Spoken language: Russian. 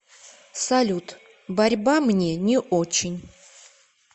салют борьба мне не очень